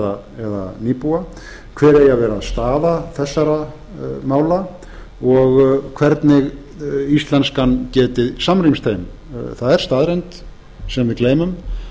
hver eigi að vera staða þessara mála og hvernig íslenskan geti samrýmst þeim það er staðreynd sem við gleymum